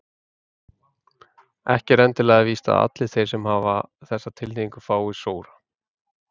Ekki er endilega víst að allir þeir sem hafa þessa tilhneigingu fái sóra.